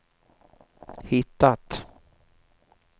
hittat